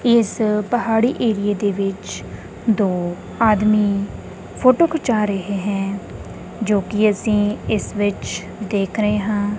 ਇਸ ਪਹਾੜੀ ਏਰੀਏ ਦੇ ਵਿੱਚ ਦੋ ਆਦਮੀ ਫੋਟੋ ਖਿਚਾ ਰਹੇ ਹੈਂ ਜੋ ਕਿ ਅਸੀਂ ਇਸ ਵਿੱਚ ਦੇਖ ਰਹੇ ਹਾਂ।